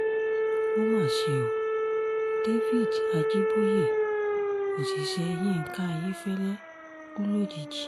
ó mà ṣe o david ajiboye òṣìṣẹ́ yinka ayéfẹ́lẹ́ kú lójijì